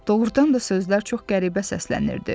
Doğrudan da sözlər çox qəribə səslənirdi.